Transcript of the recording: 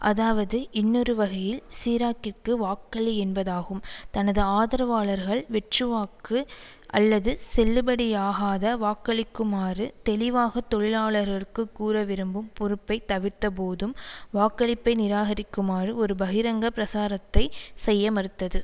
அதாவது இன்னொருவகையில் சிராக்கிற்கு வாக்களி என்பதாகும் தனது ஆதரவாளர்கள் வெற்றுவாக்கு அல்லது செல்லுபடியாகாத வாக்களிக்குமாறு தெளிவாக தொழிலாளர்களுக்கு கூற விரும்பும் பொறுப்பை தவிர்த்தபோதும் வாக்களிப்பை நிராகரிக்குமாறு ஒரு பகிரங்க பிரசாரத்தை செய்ய மறுத்தது